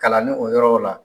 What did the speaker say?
Kalanni o yɔrɔ o la.